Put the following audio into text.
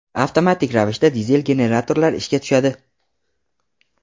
avtomatik ravishda dizel generatorlar ishga tushadi.